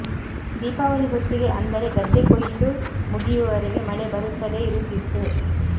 ದೀಪಾವಳಿ ಹೊತ್ತಿಗೆ ಅಂದರೆ ಗದ್ದೆ ಕೊಯ್ಲು ಮುಗಿಯುವವರೆಗೆ ಮಳೆ ಬರುತ್ತಲೇ ಇರುತ್ತಿತ್ತು